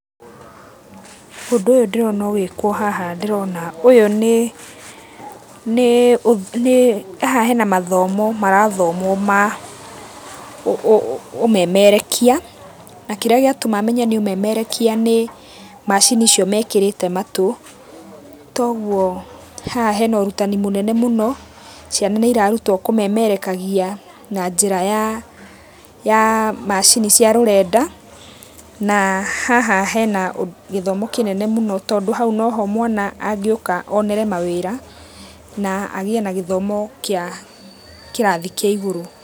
Ũndu ũyũ ndĩrona ũgĩkwo haha ndĩrona ũyũ nĩ, haha hena mathomo marathomwo ma ũmemerekia. Na kĩrĩa gĩatũma menye nĩ ũmemerekia nĩ macini icio mekĩrĩte matũ, toguo haha hena ũrutani mũnene mũno. Ciana nĩ irarutwo kũmemerekagia na njira ya, ya macini cia rũrenda. Na haha hena gĩthomo kĩnene mũno tondũ hau no ho mwana angĩũka onere mawĩra, na agĩe na gĩthomo kĩa kĩrathi kĩa igũrũ